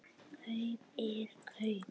Kaup er kaup.